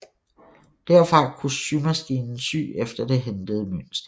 Derfra kunne symaskinen sy efter det hentede mønster